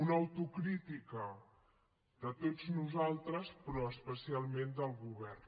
una autocrítica de tots nosaltres però especialment del govern